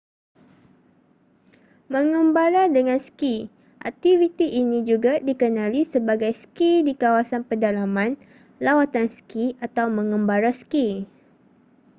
mengembara dengan ski aktiviti ini juga dikenali sebagai ski di kawasan pedalaman lawatan ski atau mengembara ski